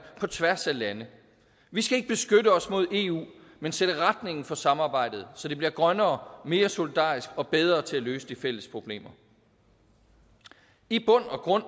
på tværs af lande vi skal ikke beskytte os mod eu men sætte retningen for samarbejdet så det bliver grønnere mere solidarisk og bedre til at løse de fælles problemer i bund og grund